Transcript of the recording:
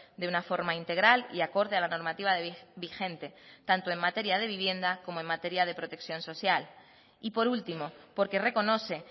de una forma integral y acorde a la normativa vigente tanto en materia de vivienda como en materia de protección social y por último porque reconoce